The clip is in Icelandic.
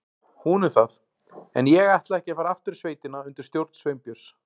Hún um það, en ég ætlaði ekki að fara aftur í sveitina undir stjórn Sveinbjörns.